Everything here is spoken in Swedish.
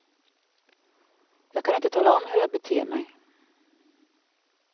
Jag kan inte tala om hur jag beter mig.